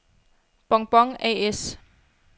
Bon-Bon A/S